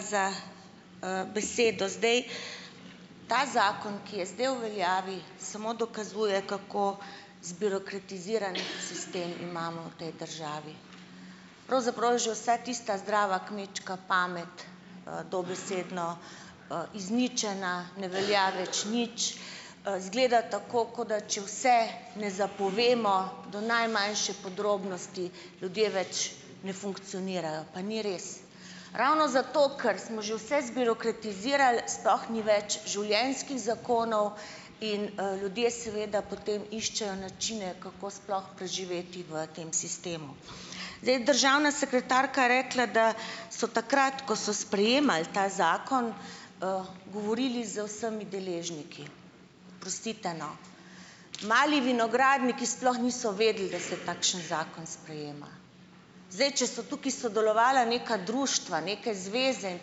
Za, besedo. Zdaj, ta zakon, ki je zdaj v veljavi, samo dokazuje, kako zbirokratiziran sistem imamo v tej državi. Pravzaprav je že vsa tista zdrava kmečka pamet, dobesedno, izničena, ne velja več nič, izgleda tako, kot da, če vse ne zapovemo do najmanjše podrobnosti, ljudje več ne funkcionirajo. Pa ni res. Ravno zato, ker smo že vse zbirokratizirali, sploh ni več življenjskih zakonov in, ljudje seveda potem iščejo načine, kako sploh preživeti v tem sistemu. Zdaj, državna sekretarka je rekla, da so takrat, ko so sprejemali ta zakon, govorili z vsemi deležniki. Oprostite, no. Mali vinogradniki sploh niso vedeli, da se takšen zakon sprejema. Zdaj, če so tukaj sodelovala neka društva, neke zveze in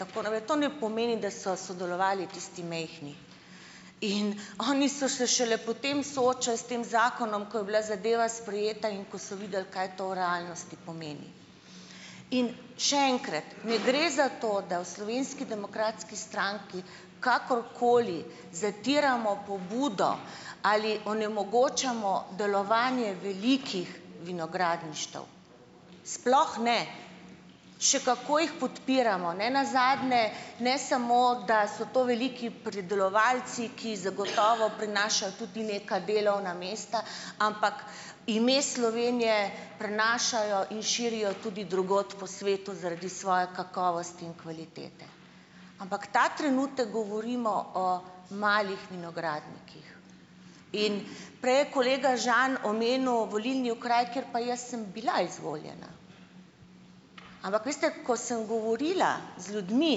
tako naprej, to ne pomeni, da so sodelovali tisti majhni. In oni so se šele potem soočali s tem zakonom, ko je bila zadeva sprejeta in ko so videli, kaj to v realnosti pomeni. In še enkrat, ne gre za to, da v Slovenski demokratski stranki kakorkoli zatiramo pobudo ali onemogočamo delovanje velikih vinogradništev, sploh ne, še kako jih podpiramo. Ne nazadnje, ne samo, da so to veliki pridelovalci, ki zagotovo prinašajo tudi neka delovna mesta, ampak ime Slovenije prenašajo in širijo tudi drugod po svetu zaradi svoje kakovosti in kvalitete. Ampak ta trenutek govorimo o malih vinogradnikih. In prej je kolega Žan omenil volilni okraj, kjer pa jaz sem bila izvoljena, ampak veste, ko sem govorila z ljudmi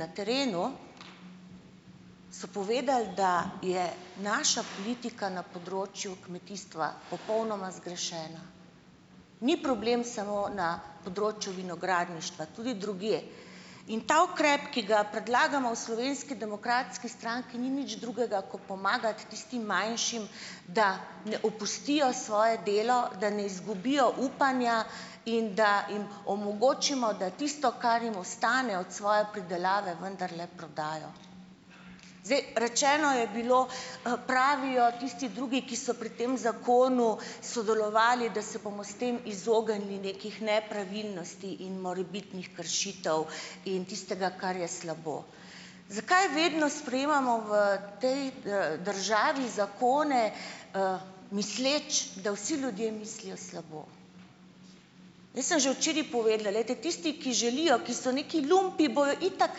na terenu, so povedali, da je naša politika na področju kmetijstva popolnoma zgrešena. Ni problem samo na področju vinogradništva, tudi drugje. In ta ukrep, ki ga predlagamo v Slovenski demokratski stranki, ni nič drugega, ko pomagati tistim manjšim, da ne opustijo svoje delo, da ne izgubijo upanja in da jim omogočimo, da tisto, kar jim ostane od svoje pridelave, vendarle prodajo. Zdaj, rečeno je bilo, pravijo tisti drugi, ki so pri tem zakonu sodelovali, da se bomo s tem izognili nekih nepravilnosti in morebitnih kršitev in tistega, kar je slabo. Zakaj vedno sprejemamo v potem, državi zakone, misleč, da vsi ljudje mislijo slabo? Jaz sem že včeraj povedala. Glejte, tisti, ki želijo, ki so nekaj lumpi, bojo itak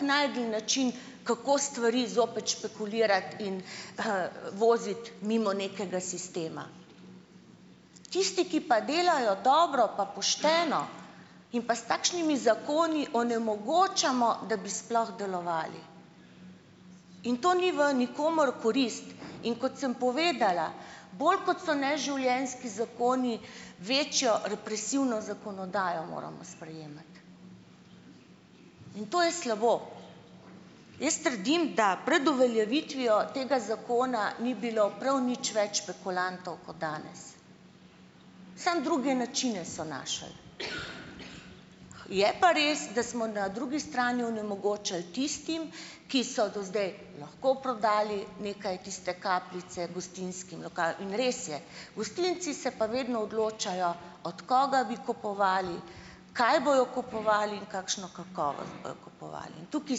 našli način, kako stvari zopet špekulirati in, voziti mimo nekega sistema. Tisti, ki pa delajo dobro pa pošteno, jim pa s takšnimi zakoni onemogočamo, da bi sploh delovali. In to ni v nikomur v korist. In kot sem povedala, bolj kot so neživljenjski zakoni, večjo represivno zakonodajo moramo sprejemati. In to je slabo. Jaz trdim, da pred uveljavitvijo tega zakona ni bilo prav nič več špekulantov kot danes, samo druge načine so našli. Je pa res, da smo na drugi strani onemogočali tistim, ki so do zdaj lahko prodali nekaj tiste kapljice gostinskim lokalom. In res je, gostinci se pa vedno odločajo, od koga bi kupovali, kaj bojo kupovali in kakšno kakovost bojo kupovali. In tukaj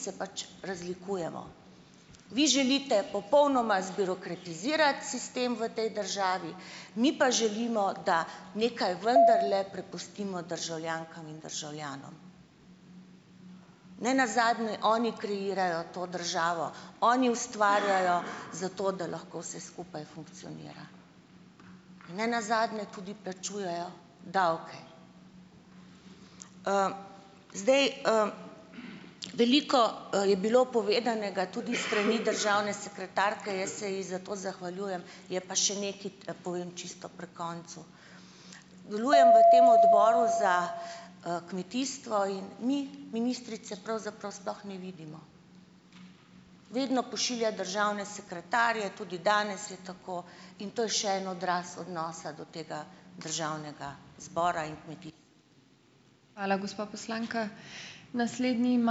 se pač razlikujemo. Vi želite popolnoma zbirokratizirati sistem v tej državi, mi pa želimo, da nekaj vendarle prepustimo državljankam in državljanom. Ne nazadnje oni kreirajo to državo, oni ustvarjajo zato, da lahko vse skupaj funkcionira in ne nazadnje tudi plačujejo davke. Zdaj, Veliko, je bilo povedanega tudi s strani državne sekretarke, jaz se ji za to zahvaljujem. Je pa še nekaj, povem čisto pri koncu. Delujem v tem Odboru za, kmetijstvo in mi ministrice pravzaprav sploh ne vidimo, vedno pošilja državne sekretarje, tudi danes je tako, in to je še en odraz odnosa do tega državnega zbora in nekih ...